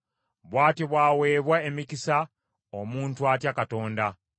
Bw’atyo bw’aweebwa emikisa omuntu atya Mukama .